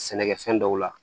Sɛnɛkɛfɛn dɔw la